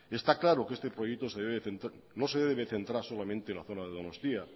está claro que este proyecto no se debe centrar solamente la zona de donostia